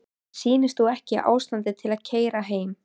Mér sýnist þú ekki í ástandi til að keyra heim.